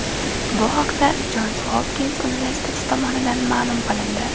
Bu haqda Jons Hopkins universiteti tomonidan ma’lum qilindi .